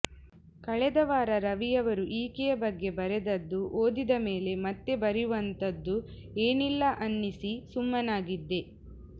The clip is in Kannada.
ಕಳೆದ ವಾರ ರವಿಯವರು ಈಕೆಯ ಬಗ್ಗೆ ಬರೆದದ್ದು ಓದಿದ ಮೇಲೆ ಮತ್ತೆ ಬರೆಯುವಂಥದ್ದು ಏನಿಲ್ಲ ಅನ್ನಿಸಿ ಸುಮ್ಮನಾಗಿದ್ದೆ